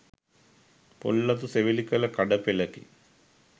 පොල් අතු සෙවිලි කළ කඩ පෙළකි.